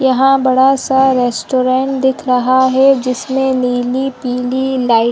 यहाँ बड़ा सा रेस्ट्रोन्ट दिख रहा है जिसमे नीली पिली लाइट --